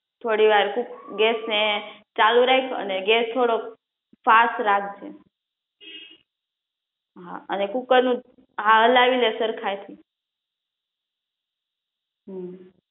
થોડી વાર ગેસ ને ચાલુ રાખ અને ગેસ થોડૉક ફાસ્ટ રાખજે